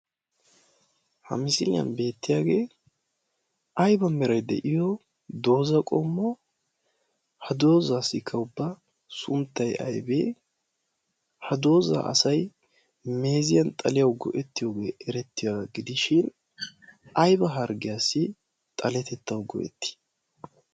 ha misiiliyan beettiyaagee aiba merai de'iyo dooza qommo ha doozaa si kaubba sunttaiy aybee ha doozaa asai meeziyan xaliyau go'ettiyoogee erettiyaa gidishin aiba harggiyaassi xaletettau go'ettii?